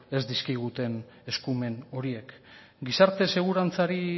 ez dizkiguten eskumen horiek gizarte segurantzari